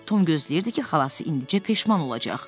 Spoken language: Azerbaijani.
Tom gözləyirdi ki, xalası indicə peşman olacaq.